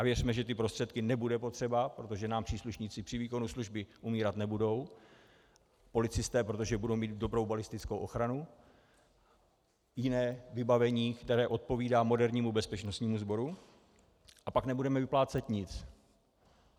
A věřme, že ty prostředky nebudou potřeba, protože nám příslušníci při výkonu služby umírat nebudou, policisté, protože budou mít dobrou balistickou ochranu, jiné vybavení, které odpovídá modernímu bezpečnostnímu sboru, a pak nebudeme vyplácet nic.